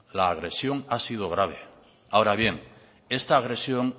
la agresión ha sido grave ahora bien esta agresión